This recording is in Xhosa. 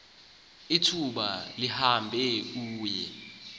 ithuba lihamba uye